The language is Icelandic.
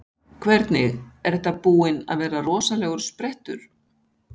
Hvernig, er þetta búinn að vera rosalegur sprettur?